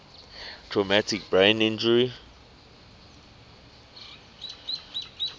traumatic brain injury